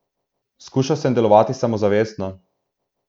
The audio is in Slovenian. Skušal sem delovati samozavestno.